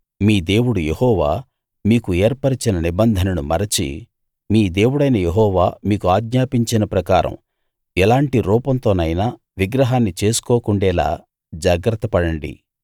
మీ దేవుడు యెహోవా మీకు ఏర్పరచిన నిబంధనను మరచి మీ దేవుడైన యెహోవా మీకు ఆజ్ఞాపించిన ప్రకారం ఎలాంటి రూపంతోనైనా విగ్రహాన్ని చేసుకోకుండేలా జాగ్రత్తపడండి